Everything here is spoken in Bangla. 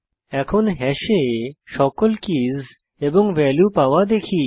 এখন হ্যাশে সকল কীস এবং ভ্যালু পাওয়া দেখি